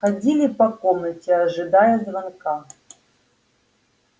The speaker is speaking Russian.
ходили по комнате ожидая звонка